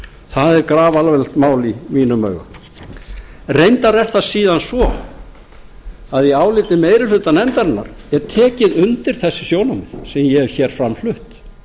það er grafalvarlegt mál í mínum augum reyndar er það síðan svo að í áliti meiri hluta nefndarinnar er tekið undir þessi sjónarmið sem ég hef fram flutt